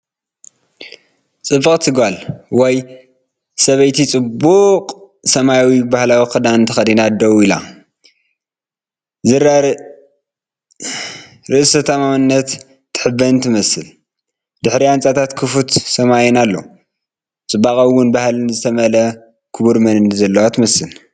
ጽብቕቲ ጓል/ሰበይቲ ጽቡቕ ሰማያዊ ባህላዊ ክዳን ተኸዲና ደው ኢላ ፣ ኣዝያ ርእሰ ተኣማንነትን ትሕበንን ትመስል። ብድሕሪኣ ህንጻታትን ክፉት ሰማይን ኣሎ። ብጽባቐን እሙን ባህልን ዝተመልአ ክቡር መንነት ዘለዋ ትመስል።